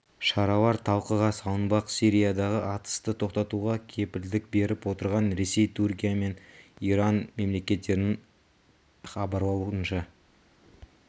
шаралар талқыға салынбақ сириядағы атысты тоқтатуға кепілдік беріп отырған ресей түркия мен иран мемлекеттерінің іабарлауынша